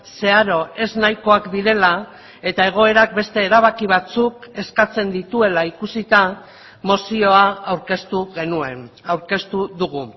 zeharo ez nahikoak direla eta egoerak beste erabaki batzuk eskatzen dituela ikusita mozioa aurkeztu genuen aurkeztu dugu